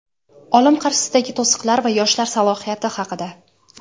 olim qarshisidagi to‘siqlar va yoshlar salohiyati haqida.